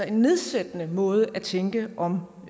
en nedsættende måde at tænke om